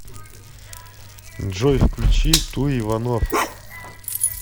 джой включи ту иванов